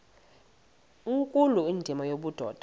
nkulu indima yobudoda